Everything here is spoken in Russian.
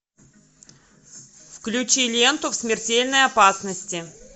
включи ленту в смертельной опасности